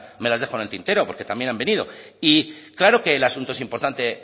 me las dejo en el tintero porque también han venido y claro que el asunto es importante